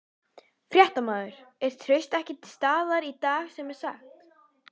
Fréttamaður: Er traust ekki til staðar í dag sem sagt?